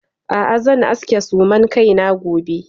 A'a zan aske suman kaina gobe.